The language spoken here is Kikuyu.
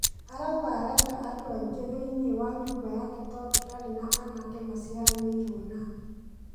Arauga arenda andũaingĩ thĩiniĩ wa nyũmba yake tondũndarĩ na anake maciaranĩirwo nake.